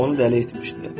Onu dəli etmişdi.